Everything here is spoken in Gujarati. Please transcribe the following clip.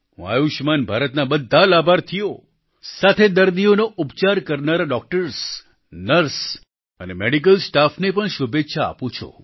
હું આયુષ્યમાન ભારતના બધા લાભાર્થીઓ સાથેસાથે દર્દીઓનો ઉપચાર કરનારા ડોક્ટર્સ નર્સ અને મેડિકલ સ્ટાફને પણ શુભેચ્છા આપું છું